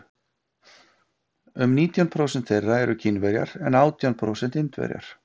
um nítján prósent þeirra eru kínverjar en átján prósent indverjar